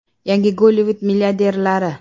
Yangi Gollivud milliarderlari.